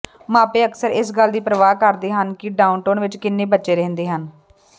ਮਾਪੇ ਅਕਸਰ ਇਸ ਗੱਲ ਦੀ ਪਰਵਾਹ ਕਰਦੇ ਹਨ ਕਿ ਡਾਊਨਟਾਊਨ ਵਿਚ ਕਿੰਨੇ ਬੱਚੇ ਰਹਿੰਦੇ ਹਨ